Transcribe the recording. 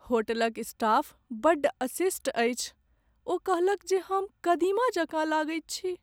होटलक स्टाफ बड्ड अशिष्ट अछि। ओ कहलक जे हम कदीमा जकाँ लगैत छी।